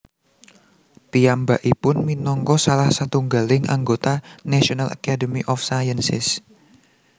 Piyambakipun minangka salah satunggaling anggota National Academy of Sciences